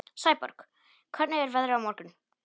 Sæborg, hvernig er veðrið á morgun?